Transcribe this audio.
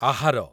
ଆହାର